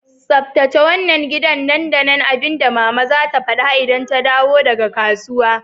Tsaftace wannan gidan nan da nan! Abinda mama zata fada idan ta dawo daga kasuwa.